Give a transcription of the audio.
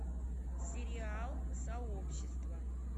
сериал сообщество